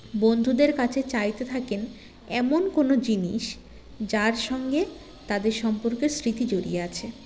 বন্ধুদের কাছে চাইতে থাকেন এমন কোনো জিনিস যার সঙ্গে তাদের সম্পর্কের স্মৃতি জড়িয়ে আছে